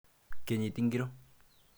Kenyit ingoro?